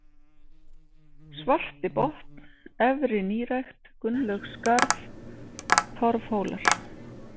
Svartibotn, Efri-Nýrækt, Gunnlaugsskarð, Torfhólar